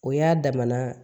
O y'a damana